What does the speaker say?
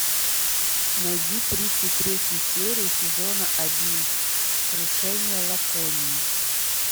найди тридцать третью серию сезона один крушение лаконии